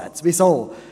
Weshalb dies?